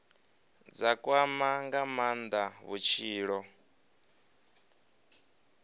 dza kwama nga maanda vhutshilo